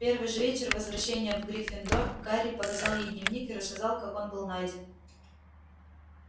в первый же вечер возвращения в гриффиндор гарри показал ей дневник и рассказал как он был найден